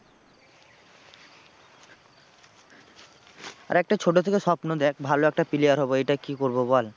আরে একটা ছোটো থেকে স্বপ্ন দেখ ভালো একটা player হবো এটা কি করবো বল।